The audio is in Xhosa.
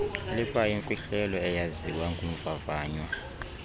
likwayimfihlelo eyaziwa ngumvavanywa